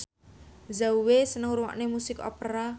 Zhao Wei seneng ngrungokne musik opera